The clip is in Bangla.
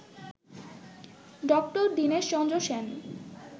ডক্টর দীনেশচন্দ্র সেন